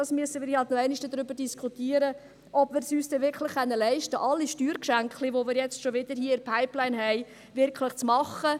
Wir müssen ja auch darüber noch einmal diskutieren, ob wir es uns leisten können, alle Steuergeschenklein, die wir hier schon wieder in der Pipeline haben, wirklich zu machen.